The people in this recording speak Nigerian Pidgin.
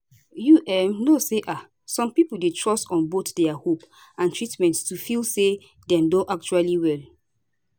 you um know say um some pipo dey trust on both dia hope and treatment to feel say dem don actually well